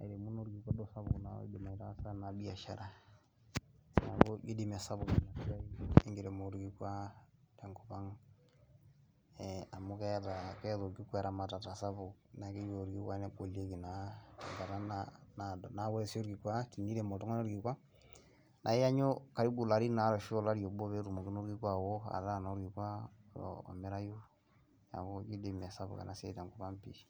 airemu naa duo orkikua sapuk oleng oidim aitaasa baa biashara , niaku ijo doi mee sapuk enasiai enkiremore orkikua tenkop ang amu keetai orkikua eramatata sapuk, keyeu orkikua negolieki naa tekata naado. Niaku wore sii orkikua, tinerem oltungani orkikua iyannyu karibu ilarin ware ashu olari obo peetumoki naa orkikua aowo ataa naa orkikua omirayu niaku ijo doi mee sapuk enasiai tenkop ang pii.